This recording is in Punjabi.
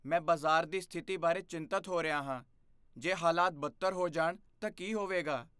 ਮੈਂ ਬਾਜ਼ਾਰ ਦੀ ਸਥਿਤੀ ਬਾਰੇ ਚਿੰਤਤ ਹੋ ਰਿਹਾ ਹਾਂ। ਜੇ ਹਾਲਾਤ ਬਦਤਰ ਹੋ ਜਾਣ ਤਾਂ ਕੀ ਹੋਵੇਗਾ?